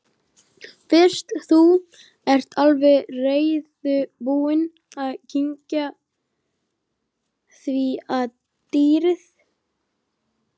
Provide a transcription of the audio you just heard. Fyrst þú ert alveg reiðubúinn að kyngja því að dýrið